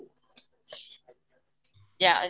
ଯା